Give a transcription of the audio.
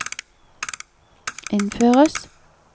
innføres